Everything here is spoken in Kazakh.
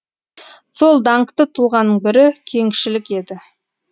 сол даңқты тұлғаның бірі кеңшілік еді